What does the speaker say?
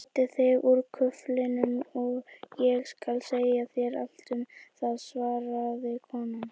Klæddu þig úr kuflinum og ég skal segja þér allt um það svaraði konan.